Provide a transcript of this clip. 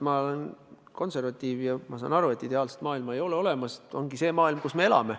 Ma olen konservatiiv ja ma saan aru, et ideaalset maailma ei ole olemas – on see maailm, kus me elame.